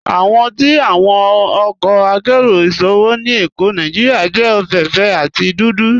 Awọ ti awọn ọkọ àkéró ìṣòwò ni Ékó Nàìjíríà jẹ ofééféè àti dúdú.